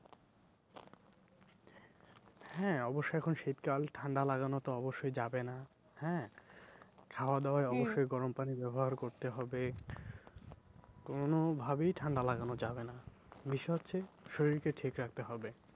হ্যাঁ অব্যশই এখন শীতকাল ঠান্ডা লাগানো তো অব্যশই যাবে না হ্যাঁ? খাওয়া দাওয়ায় অব্যশই গরম পানি ব্যবহার করতে হবে কোনো ভাবেই ঠান্ডা লাগানো যাবে না। বিষয় হচ্ছে, শরীর কে ঠিক রাখতে হবে।